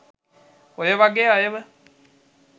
ඔය වගේ අයව